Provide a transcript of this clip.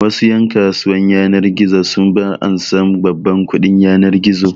Wasu ƴan kasuwan yanar gizo su ba ansan babban kuɗin yanar gizo